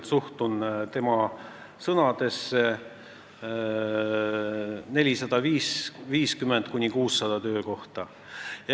Ma suhtun tema sõnadesse väga tõsiselt.